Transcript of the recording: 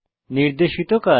নির্দেশিত কাজ